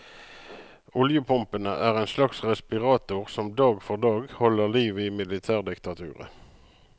Oljepumpene er en slags respirator som dag for dag holder liv i militærdiktaturet.